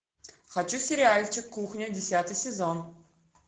хочу сериальчик кухня десятый сезон